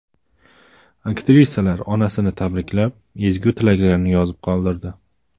Aktrisalar onasini tabriklab, ezgu tilaklarini yozib qoldirdi.